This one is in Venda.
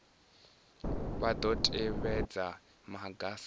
vha dzo tevhedza maga sa